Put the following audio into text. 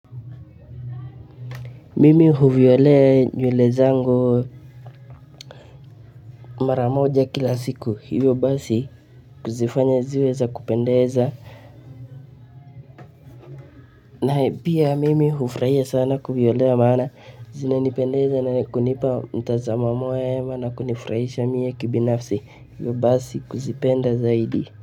Mimi huvilea nywele zango mara moja kila siku hivyo basi kuzifanya ziwe za kupendeza na pia mimi hufurahia sana kuvyolea maana zinanipendeza na kunipa mtazamamo mwema na kunifurahisha mie kibinafsi, hivyo basi kuzipenda zaidi.